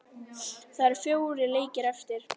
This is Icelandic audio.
Það eru fjórir leikir eftir.